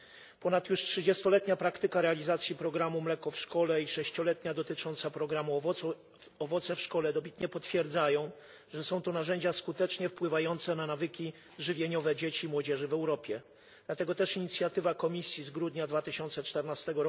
Już ponad trzydziestoletnia praktyka realizacji programu Mleko w szkole i sześcioletnia dotycząca programu Owoce w szkole dobitnie potwierdzają, że są to narzędzia skutecznie wpływające na nawyki żywieniowe dzieci i młodzieży w Europie. Dlatego też inicjatywa Komisji z grudnia 2014